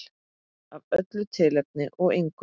Af öllu tilefni og engu.